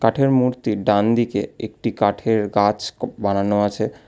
কাঠের মূর্তির ডান দিকে একটি কাঠের গাছ বানানো আছে।